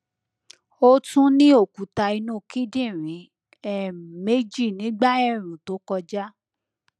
ó tún ní òkúta inú kíndìnrín um méjì nígbà ẹẹrùn tó kọjá